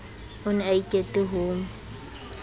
o ne a ikete ho